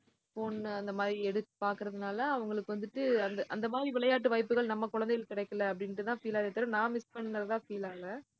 phone அந்த மாதிரி எடுத்~ பாக்குறதுனால அவங்களுக்கு வந்துட்டு அந்த, அந்த மாதிரி விளையாட்டு வாய்ப்புகள் நம்ம குழந்தைகளுக்கு கிடைக்கல, அப்படின்னுட்டுதான் feel ஆகுதே தவிர, நான் miss பண்ணதுதான் feel ஆகல